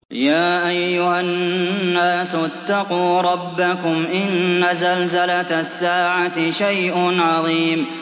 يَا أَيُّهَا النَّاسُ اتَّقُوا رَبَّكُمْ ۚ إِنَّ زَلْزَلَةَ السَّاعَةِ شَيْءٌ عَظِيمٌ